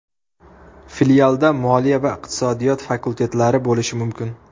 Filialda moliya va iqtisodiyot fakultetlari bo‘lishi mumkin.